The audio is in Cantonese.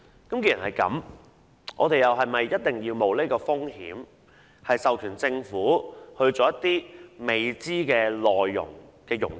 既然如此，我們是否應該冒此風險，授權政府做一些未知內容的融資？